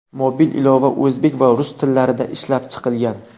Mobil ilova o‘zbek va rus tillarida ishlab chiqilgan.